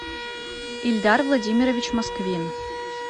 эльдар владимирович москвин